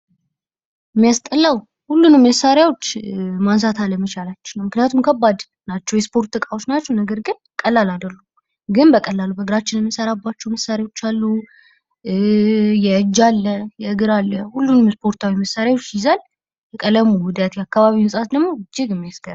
የሚያስጠላው ሁሉንም መሳሪያዎች ማንሳት አለመቻላችን ነው። ምክንያቱም ከባድ ናቸው። የስፖርት እቃዎች ናቸዉ። ነገር ግን ቀላል አይደሉም። ግን በቀላሉ በእግራችን የምንሰራባቸው መሳሪያዎች አሉ። የእጅ አለ የእግር አለ። ሁሉንም የስፖርታዊ መሳሪያዎች ይዘን የቀለሙ ውህደት የአካባቢው ንጻት እጅግ የሚያስገርም ነዉ።